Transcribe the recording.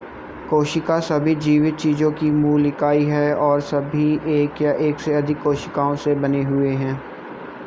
कोशिका सभी जीवित चीजों की मूल इकाई है और सभी जीव एक या एक से अधिक कोशिकाओं से बने हुए हैं